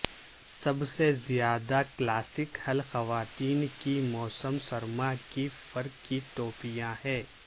سب سے زیادہ کلاسک حل خواتین کی موسم سرما کی فر کی ٹوپیاں ہے